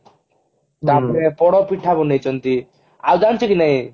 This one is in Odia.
ତାପରେ ପୋଡା ପିଠା ବନେଇଛନ୍ତି ଆଉ ଜାଣିଛ କି ନାଇଁ